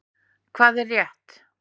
Hvað er rétt?